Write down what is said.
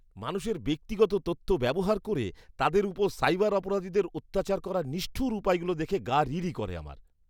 মানুষের ব্যক্তিগত তথ্য ব্যবহার করে তাদের উপর সাইবার অপরাধীদের অত্যাচার করার নিষ্ঠুর উপায়গুলো দেখে গা রিরি করে আমার।